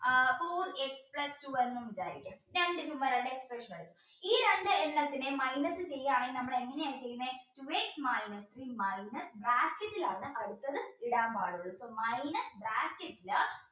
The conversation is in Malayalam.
x plus two എന്നും വിചാരിക്കാ ഈ രണ്ടെണ്ണത്തിനെയും minus ചെയ്യുകയാണെങ്കിൽ നമ്മൾ എങ്ങനെ ചെയ്യാം two x minus bracket ൽ ആണ് അടുത്തത് ഇടാൻ പാടുള്ളൂ കേട്ടോ minus bracket